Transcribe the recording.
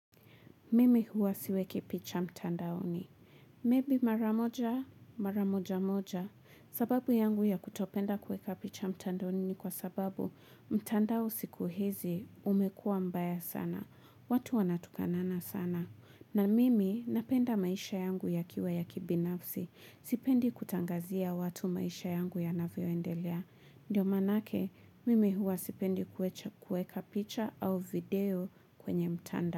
Mimi huwa siweki picha mtandaoni. Maybe mara moja, mara moja moja. Sababu yangu ya kutopenda kuweka picha mtandaoni ni kwa sababu mtandao siku hizi umekuwa mbaya sana. Watu wanatukanana sana. Na mimi napenda maisha yangu yakiwa ya kibinafsi. Sipendi kutangazia watu maisha yangu yanavyoendelea. Ndio maanake, mimi huwa sipendi kuweka picha au video kwenye mtanda.